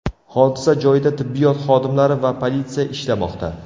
Hodisa joyida tibbiyot xodimlari va politsiya ishlamoqda.